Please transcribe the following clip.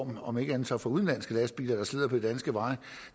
her om ikke andet så for udenlandske lastbiler der slider på de danske veje